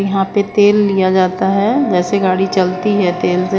यहाँ पे तेल लिया जाता है ऐसे गाड़ी चलती है तेल से--